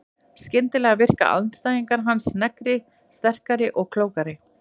Skyndilega virka andstæðingar hans sneggri, sterkari og klókari.